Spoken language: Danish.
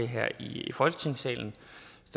her i folketingssalen